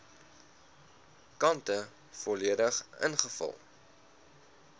kante volledig ingevul